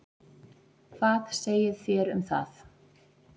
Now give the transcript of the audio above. Hvað segið þér um það?